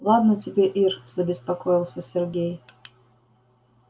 ладно тебе ир забеспокоился сергей